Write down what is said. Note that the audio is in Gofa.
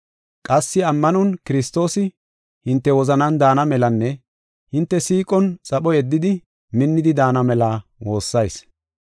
Qassi ammanon Kiristoosi hinte wozanan daana melanne hinte siiqon xapho yeddidi minnidi daana mela woossayis.